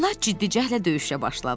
Onlar ciddi cəhdlə döyüşə başladılar.